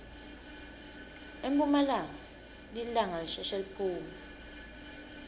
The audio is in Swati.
emphumalanga lilanga lisheshe liphume